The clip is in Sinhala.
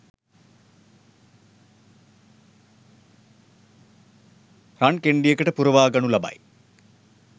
රන් කෙණ්ඩියකට පුරවා ගනු ලබයි.